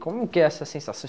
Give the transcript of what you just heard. Como que é essa sensação